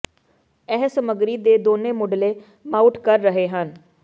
ਇਹ ਸਮੱਗਰੀ ਦੇ ਦੋਨੋ ਮੁਢਲੇ ਮਾਊਟ ਕਰ ਰਹੇ ਹਨ